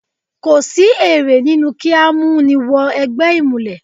Kò sí èrè nínú kí á mú ni wọ ẹgbẹ́ ìmùlẹ̀.